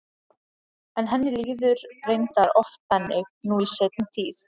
En henni líður reyndar oft þannig nú í seinni tíð.